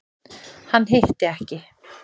Hann hitti ekki.